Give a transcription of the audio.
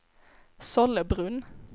Sollebrunn